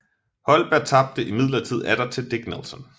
Holberg tabte imidlertid atter til Dick Nelson